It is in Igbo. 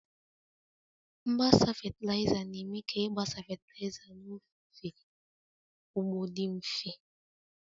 Mgbasa fatịlaịza, na-eme ka ịgbasa fatịlaịza n'ofe ugbo dị mfe